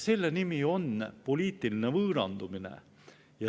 Selle nimi on poliitiline võõrandumine.